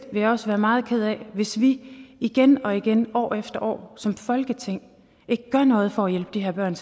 jeg også være meget ked af hvis vi igen og igen år efter år som folketing ikke gør noget for at hjælpe de her børn